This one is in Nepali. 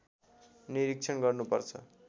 निरीक्षण गर्नुपर्छ